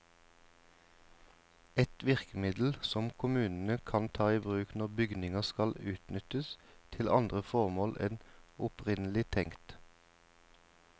Et virkemiddel som kommunene kan ta i bruk når bygninger skal utnyttes til andre formål enn opprinnelig tenkt.